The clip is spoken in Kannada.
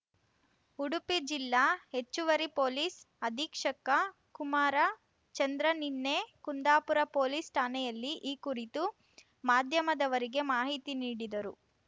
ಉಡುಪಿ ಜಿಲ್ಲಾ ಹೆಚ್ಚುವರಿ ಪೊಲೀಸ್ ಅಧೀಕ್ಷಕ ಕುಮಾರ ಚಂದ್ರ ನಿನ್ನೆ ಕುಂದಾಪುರ ಪೊಲೀಸ್ ಠಾಣೆಯಲ್ಲಿ ಈ ಕುರಿತು ಮಾಧ್ಯಮದವರಿಗೆ ಮಾಹಿತಿ ನೀಡಿದರು